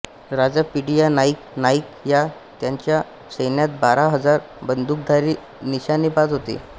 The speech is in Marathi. राजा पिडीया नाईक नायक याच्या सैन्यात बारा हजार बंदुकधारी निशाणेबाज होते